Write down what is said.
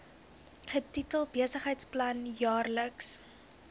getitel besigheidsplan jaarlikse